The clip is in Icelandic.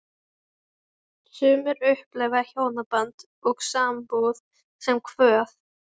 Sumir upplifa hjónaband og sambúð sem kvöð.